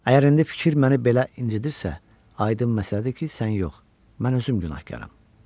Əgər indi fikir məni belə incitdirsə, aydın məsələdir ki, sən yox, mən özüm günahkaram.